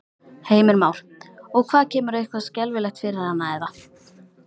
Heimir Már: Og hvað kemur eitthvað skelfilegt fyrir hana eða?